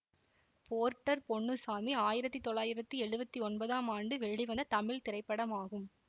Porter Ponnusamy ஆயிரத்தி தொள்ளாயிரத்தி எழுவத்தி ஒன்பதாம் ஆண்டு வெளிவந்த தமிழ் திரைப்படமாகும்